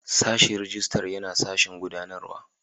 Sashin Rijistar yana sashen gudanarwa.